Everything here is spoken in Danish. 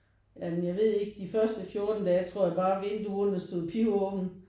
Ja men jeg ved ikke de første 14 dage tror jeg bare vinduerne stod pivåbent